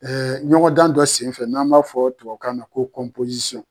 Ɛɛ ɲɔgɔn dan dɔ senfɛ n'an b'a fɔ tubabu kan na ko kɔnpozisiyɔn